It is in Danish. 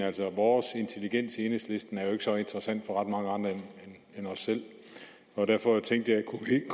altså vores intelligens enhedslisten er jo ikke så interessant for ret mange andre end os selv og derfor tænkte